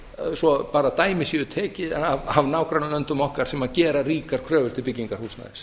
svo að dæmi séu tekin af nágrannalöndum okkur sem gera ríkar kröfur til byggingar húsnæðis